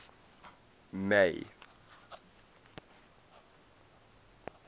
may